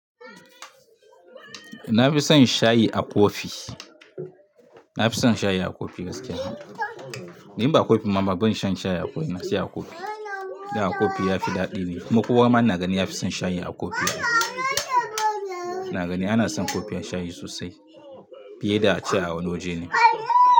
Na fi son shayi a kofi. Na fi son shayi a kofi bas kai haka. Ni ba kofi mama ban shan shayi a kofi, na sha a kofi. Da kofi ya fi daɗi ne kuma ko wannan nagani ya fi son shayi a kofi. Nagani ana son kofin shayi sosai, fiye da ace awan wajene.